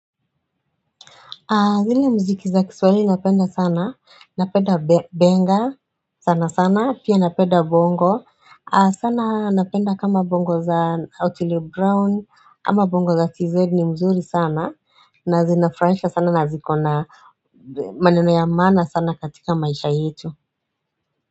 Zile mziki za kiswahili napenda sana, napenda benga sana sana, pia napenda bongo, sana napenda kama bongo za Otile Brown, ama bongo za TZ ni mzuri sana, na zinafurahisha sana na zikona maneno ya maana sana katika maisha yetu.